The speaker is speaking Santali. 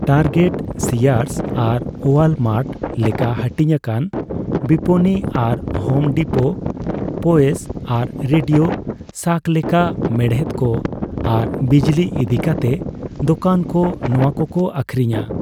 ᱴᱟᱨᱜᱮᱴ, ᱥᱤᱭᱟᱨᱥ ᱟᱨ ᱳᱣᱟᱞᱢᱟᱨᱴ ᱞᱮᱠᱟ ᱦᱟᱹᱴᱤᱧ ᱟᱠᱟᱱ ᱵᱤᱯᱱᱤ, ᱟᱨ ᱦᱳᱢ ᱰᱤᱯᱳ, ᱯᱳᱭᱮᱥ ᱟᱨ ᱨᱮᱰᱤᱳ ᱥᱟᱠ ᱞᱮᱠᱟ ᱢᱮᱲᱦᱮᱫ ᱠᱚ ᱟᱨ ᱵᱤᱡᱞᱤ ᱤᱫᱤ ᱠᱟᱛᱮ ᱫᱳᱠᱟᱱ ᱠᱚ ᱱᱚᱣᱟ ᱠᱚᱠᱚ ᱟᱹᱠᱷᱨᱤᱧᱟ ᱾